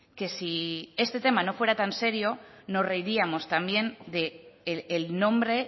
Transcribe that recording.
que si este tema no fuera tan serio nos reiríamos también del nombre